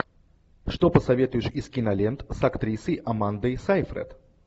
что посоветуешь из кинолент с актрисой амандой сейфрид